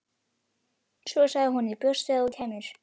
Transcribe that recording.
Svo sagði hún: Ég bjóst við að þú kæmir.